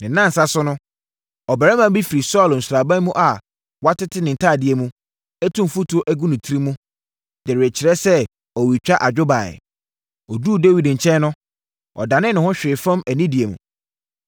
Ne nnansa so no, ɔbarima bi firi Saulo sraban mu a watete ne ntadeɛ mu, atu mfuturo agu ne tiri mu, de rekyerɛ sɛ ɔretwa adwo baeɛ. Ɔduruu Dawid nkyɛn no, ɔdanee ne ho hwee fam anidie mu.